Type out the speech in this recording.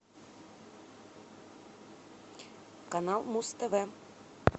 канал муз тв